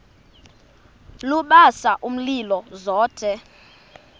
lubasa umlilo zothe